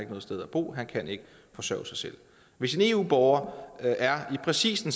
noget sted at bo han kan ikke forsørge sig selv hvis en eu borger er i præcis den